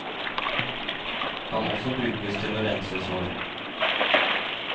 Kan også brukes til å rense sår.